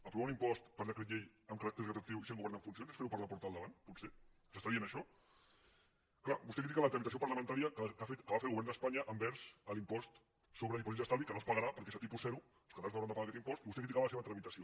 aprovar un impost per decret llei amb caràcter retroactiu i sent govern en funcions és fer ho per la porta del davant potser ens està dient això clar vostè critica la tramitació parlamentària que va fer el govern d’espanya envers l’impost sobre dipòsits d’estalvi que no es pagarà perquè a tipus zero i els catalans no hauran de pagar aquest impost i vostè criticava la seva tramitació